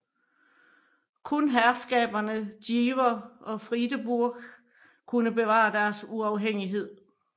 Kun herskaberne Jever og Friedeburg kunne bevare deres uafhængighed